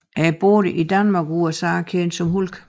Er i både Danmark og USA kendt som Hulk